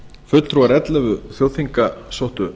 fulltrúar ellefu þjóðþinga sóttu